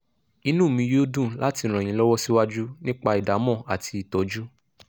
inú mi yóò dùn láti ràn yín lọ́wọ́ síwájú nípa ìdámọ̀ àti ìtọ́jú